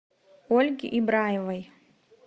ольге ибраевой